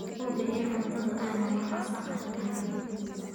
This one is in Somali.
Hubi in cuntadu aanay wax wasakh ah lahayn.